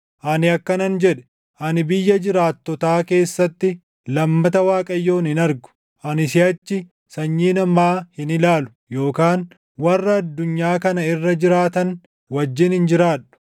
Ani akkanan jedhe; “Ani biyya jiraattotaa keessatti, lammata Waaqayyoon hin argu; ani siʼachi sanyii namaa hin ilaalu, yookaan warra addunyaa kana irra jiraatan wajjin hin jiraadhu.